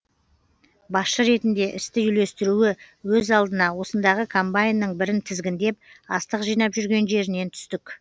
басшы ретінде істі үйлестіруі өз алдына осындағы комбайнның бірін тізгіндеп астық жинап жүрген жерінен түстік